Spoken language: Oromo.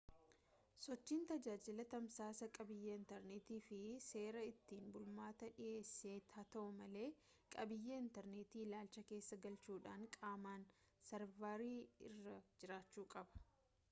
sochiin tajaajila tamsaasaa qabiiyyee intarneetiitiif seera ittiin bulmaataa dhiheesse haa ta'u malee qabiyyee intarneetii ilaalcha keessa galchuudhaan qaamaan sarvarii irra jiraachuu qaba